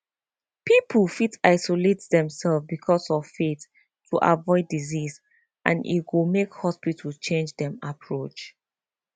people fit isolate themselves because of faith to avoid disease and e go make hospitals change dem approach